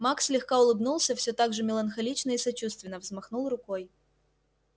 маг слегка улыбнулся всё так же меланхолично и сочувственно взмахнул рукой